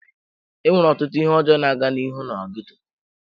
Enwere ọtụtụ ihe ọjọọ na-aga n'ihu na ghetto.